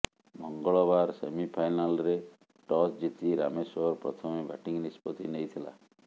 ମଙ୍ଗଳବାର ସେମିଫାଇନାଲ୍ରେ ଟସ୍ ଜିତି ରାମେଶ୍ୱର ପ୍ରଥମେ ବ୍ୟାଟିଂ ନିଷ୍ପତ୍ତି ନେଇଥିଲା